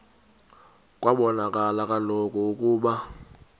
kwabonakala kaloku ukuba